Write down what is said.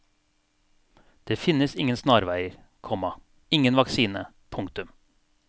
Det finnes ingen snarveier, komma ingen vaksine. punktum